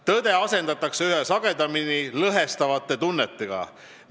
Tõde asendatakse üha sagedamini lõhestavate tundeliste avaldustega.